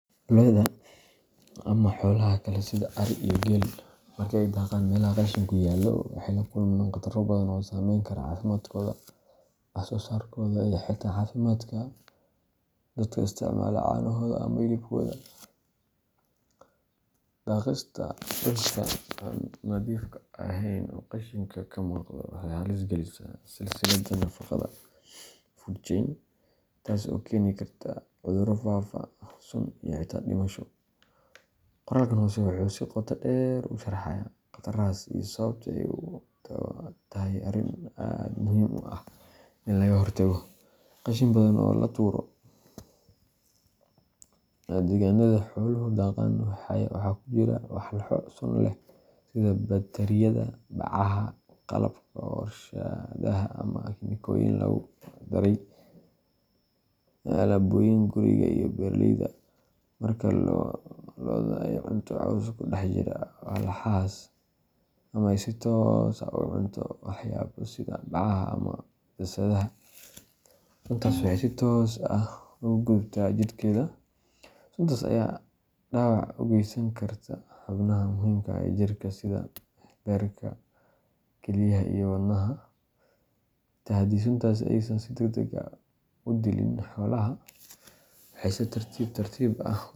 Loda lo'da ama xoolaha kale sida ari iyo geelka marka ay daaqaan meelaha qashinku yaallo, waxay la kulmaan khataro badan oo saameyn kara caafimaadkooda, wax-soosaarkooda, iyo xitaa caafimaadka dadka isticmaala caanahooda ama hilibkooda. Daaqista dhulka aan nadiifka ahayn oo qashinku ka muuqdo waxay halis gelisaa silsiladda nafaqada food chain, taasoo keeni karta cudurro faafa, sun iyo xitaa dhimasho. Qoraalkan hoose wuxuu si qoto dheer u sharxayaa khatarahaas iyo sababta ay u tahay arrin aad u muhiim ah in laga hortago. Qashin badan oo laga tuuro deegaanada xooluhu daaqaan waxaa ku jira walxo sun leh sida batariyada, bacaha, qalabka warshadaha ama kiimikooyin lagu daray alaabooyinka guriga iyo beeraleyda. Marka lo’da ay cunto caws ku dhex jira walxahaas ama ay si toos ah u cunto waxyaabo sida bacaha ama daasadaha, suntaas waxay si toos ah ugu gudubtaa jidhkeeda. Suntaas ayaa dhaawac u geysan karta xubnaha muhiimka ah ee jirka sida beerka, kilyaha, iyo wadnaha. Xitaa haddii suntaas aysan si degdeg ah u dilin xoolaha, waxay si tartiib tartiib ah.